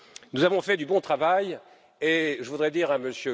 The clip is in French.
Nous avons fait du bon travail et je voudrais dire à M.